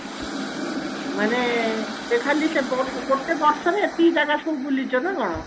ମାନେ ତୁ ଖାଲି ସେ ବ ଗୋଟେ ବର୍ଷରେ ଏତିକି ଜାଗା ସବୁ ବୁଲିଛ ନା କଣ